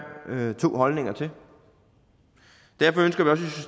to holdninger til derfor ønsker